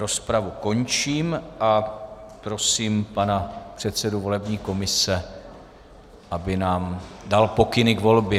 Rozpravu končím a prosím pana předsedu volební komise, aby nám dal pokyny k volbě.